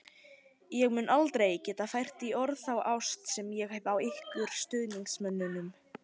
Ég mun aldrei geta fært í orð þá ást sem ég hef á ykkur stuðningsmönnum.